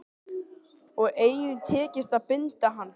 Og engum tekist að binda hann.